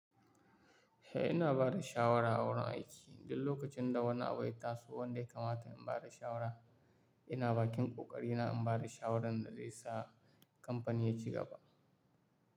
Eh ina bada shawara a wurin aiki duk lokacin da wani abu yat taso wanda ya kamata in bada shawara. Ina bakin ƙoƙari na in bada shawaran da zai sa kamfani ya ci gaba.